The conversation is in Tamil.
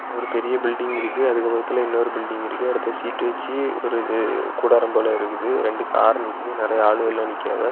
ஒரு பெரிய பில்டிங் இருக்கு அதுக்கு பக்கத்துல இன்னொரு பில்டிங் இருக்கு அடுத்து ஷீட் வச்சு ஒரு இது கூடாரம் போல இருக்குது ரெண்டு கார் நிக்கிது நெறைய ஆளுங்கெல்லாம் நிக்கிவ.